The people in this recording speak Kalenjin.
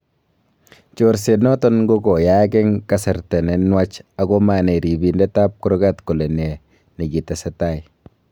chorset noton kokoyaak en kasarta ne nuach ako manai ripindet ab kurgat kole ne nikitesetai